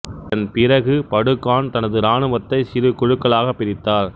இதன்பிறகு Batu Khan தனது ராணுவத்தை சிறு குழுக்களாகப் பிரித்தார்